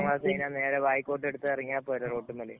ഈ പത്താം ക്ലാസ് കഴിഞ്ഞാ ബായിക്കോട്ട് എടുത്തു എറങ്ങിയാ പോരെ റോഡുമേല്.